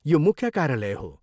यो मुख्य कार्यालय हो।